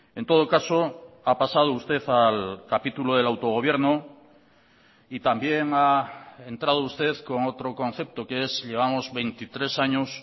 en todo caso ha pasado usted al capítulo del autogobierno y también ha entrado usted con otro concepto que es llevamos veintitrés años